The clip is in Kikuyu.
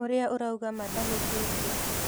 Ũrĩa ũrauga ma ndahĩtĩtie.